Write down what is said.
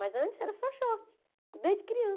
Mas antes era só short, desde